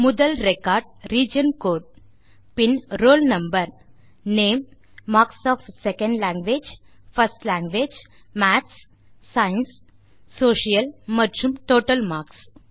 முதல் record region code பின் roll number name marks of second language first language maths science மற்றும் social மற்றும் total marks